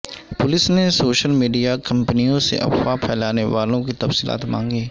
police نے social media کمپنیوں سے افواہ پھیلانے والوں کی تفصیلات مانگیں